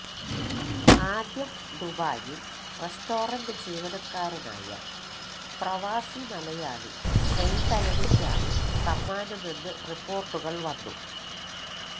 ആദ്യം ദുബായിൽ റെസ്റ്റോറന്റ് ജീവനക്കാരനായ പ്രവാസി മലയാളി സെയ്തലവിക്കാണ് സമ്മാനമെന്ന് റിപ്പോർട്ടുകൾ വന്നു